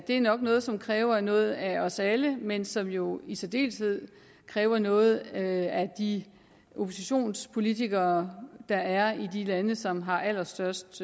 er nok noget som kræver noget af os alle men som jo i særdeleshed kræver noget af de oppositionspolitikere der er i de lande som har allerstørst